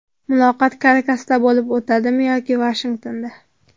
Muloqot Karakasda bo‘lib o‘tadimi yoki Vashingtonda?